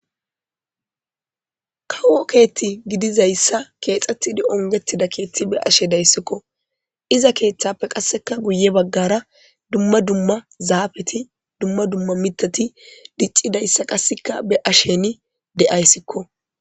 Kawo keeththi gidizayssa keexxeidi onggetida keeththi be'ashe de'aysikko. Iza keeththappe guyye bagara dumma dumma zaafeti dumma dumma miththati diccidayssa qassekka be'ashini de'ayssikko.